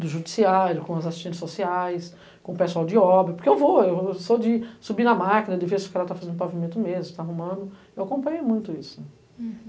do judiciário, com as assistentes sociais, com o pessoal de obra, porque eu vou, eu eu sou de subir na máquina, de ver se o cara está fazendo o pavimento mesmo, está arrumando, eu acompanho muito isso. Uhum